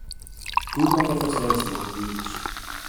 tuo maketho sels mag wich